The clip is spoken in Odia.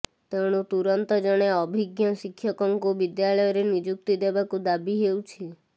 ତେଣୁ ତୁରନ୍ତ ଜଣେ ଅଭିଜ୍ଞ ଶିକ୍ଷକଙ୍କୁ ବିଦ୍ୟାଳୟରେ ନିଯୁକ୍ତି ଦେବାକୁ ଦାବି ହେଉଛି